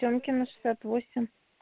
темкина шестьдесят восемь